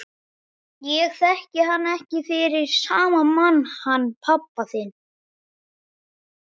Ég þekki hann ekki fyrir sama mann hann pabba þinn.